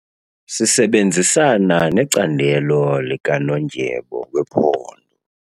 Sisebenzisana necandelo likanondyebo wephondo.